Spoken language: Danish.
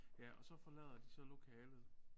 Ja og så forlader de så lokalet